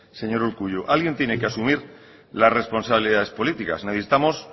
señor urkullu alguien tiene que asumir las responsabilidades políticas necesitamos